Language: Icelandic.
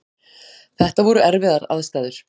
Þetta voru erfiðar aðstæður